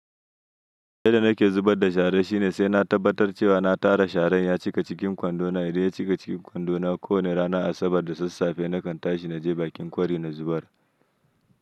Yadda nake zubar da shara shine sai na tabbatar da cewa na tara sharan ya cika cikin kwandona. Idan ya cika cikin kwandona ko wanne ranar Asabar da sassafe nakan tashi na je bakin kwari na zubar.